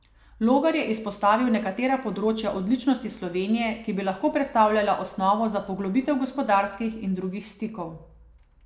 Logar je izpostavil nekatera področja odličnosti Slovenije, ki bi lahko predstavljala osnovo za poglobitev gospodarskih in drugih stikov.